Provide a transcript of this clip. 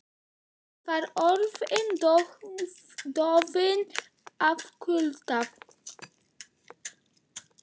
Hann var orðinn dofinn af kulda.